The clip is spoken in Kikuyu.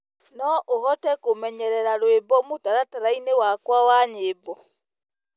no uhote kumenyerera rwĩmbo mutarataraĩnĩ wakwa wa nyĩmbo